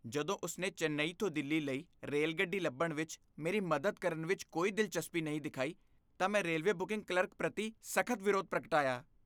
ਜਦੋਂ ਉਸ ਨੇ ਚੇਨੱਈ ਤੋਂ ਦਿੱਲੀ ਲਈ ਰੇਲਗੱਡੀ ਲੱਭਣ ਵਿੱਚ ਮੇਰੀ ਮਦਦ ਕਰਨ ਵਿੱਚ ਕੋਈ ਦਿਲਚਸਪੀ ਨਹੀਂ ਦਿਖਾਈ ਤਾਂ ਮੈਂ ਰੇਲਵੇ ਬੁਕਿੰਗ ਕਲਰਕ ਪ੍ਰਤੀ ਸਖ਼ਤ ਵਿਰੋਧ ਪ੍ਰਗਟਾਇਆ ।